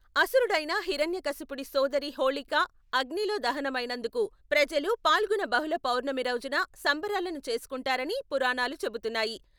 అసురుడైన హిరణ్యకశపుని సోదరి హోలీకా అగ్నిలో దహనమైనందుకు ప్రజలు ఫాల్గుణ బహుళ పౌర్ణమి రోజున సంబరాలను చేసుకుంటారని పురాణాలు చెబుతున్నాయి.